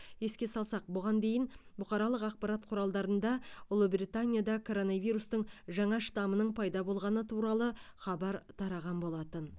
еске салсақ бұған дейін бұқаралық ақпарат құралдарында ұлыбританияда коронавирустың жаңа штамының пайда болғаны туралы хабар тараған болатын